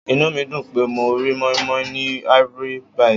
Inú mi dùn pé mo rí moin-moin ní Ivory -bite.